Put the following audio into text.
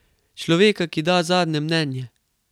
Človeka, ki da zadnje mnenje.